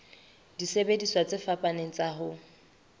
disebediswa tse fapaneng tsa ho